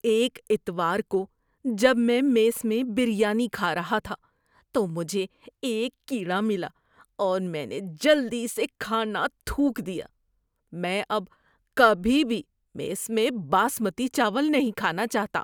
ایک اتوار کو جب میں میس میں بریانی کھا رہا تھا تو مجھے ایک کیڑا ملا اور میں نے جلدی سے کھانا تھوک دیا۔ میں اب کبھی بھی میس میں باسمتی چاول نہیں کھانا چاہتا۔